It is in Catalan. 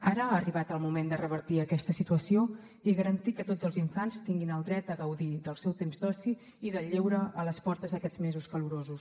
ara ha arribat el moment de revertir aquesta situació i garantir que tots els infants tinguin el dret a gaudir del seu temps d’oci i del lleure a les portes d’aquests mesos calorosos